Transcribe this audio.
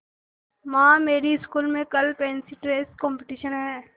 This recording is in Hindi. माँ मेरी स्कूल में कल फैंसी ड्रेस कॉम्पिटिशन है